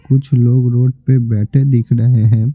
कुछ लोग रोड पर बैठे दिख रहे हैं।